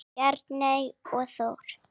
Bjarney og Þór.